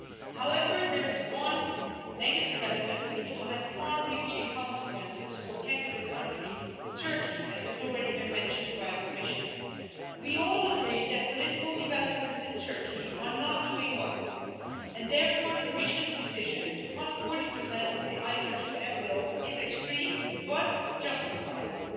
However, there is one negative element which will have far reaching consequences for candidate country Turkey, as has already been mentioned by the Commissioner. We all agree that political developments in Turkey are not doing well and, therefore, the Commission's decision to cut 40 of the Instrument for Pre accession Assistance envelope is extreme but justifiable.